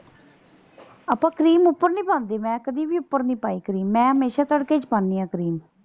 ਆਪਾਂ ਕਰੀਮ ਉਪਰ ਨੀ ਪਾਉਂਦੀ। ਮੈਂ ਕਦੀ ਵੀ ਉਪਰ ਨਹੀਂ ਪਾਈ ਕਰੀਮ ਮੈਂ ਹਮੇਸ਼ਾ ਤੜਕੇ ਚ ਪਾਂਦੀ ਆ ਕਰੀਮ।